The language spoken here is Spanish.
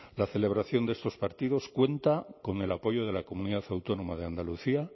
la celebración de estos partidos cuenta con el apoyo de la comunidad autónoma de andalucía